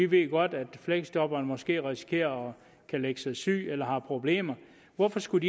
ved godt at fleksjobberen måske kan risikere at lægge sig syg eller har problemer hvorfor skulle